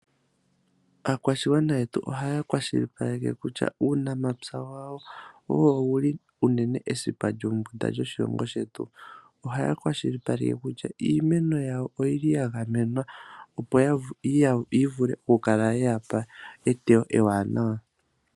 Aakwashigwana yetu ohaya kwashilipaleke kutya uunamapya wawo, owo wuli unene esipa lyombunda lyoshilongo shetu, ohaya kwashilipaleke kutya iimeno yawo oyili ya gamenwa, opo yi vule oku kala ye yapa eteyo ewanawa.